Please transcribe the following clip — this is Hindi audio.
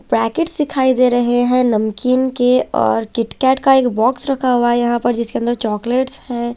पैकेटस दिखाई दे रहे है नमकीन के और किट कैट का एक बॉक्स रखा हुआ है यहाँ पे जिसके अंदर चॉकलेटस है।